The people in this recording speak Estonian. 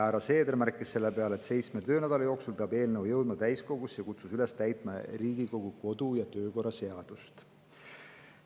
Härra Seeder märkis selle peale, et seitsme töönädala jooksul peab eelnõu jõudma täiskogusse, ja kutsus üles täitma Riigikogu kodu- ja töökorra seadust.